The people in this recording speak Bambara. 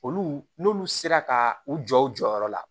Olu n'olu sera ka u jɔ u jɔyɔrɔ la